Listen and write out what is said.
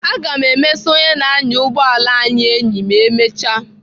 Aga m emesa onye na-anya ụgbọala anyị enyi ma emecha